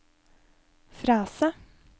frase